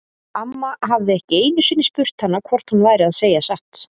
Amma hafði ekki einu sinni spurt hana hvort hún væri að segja satt.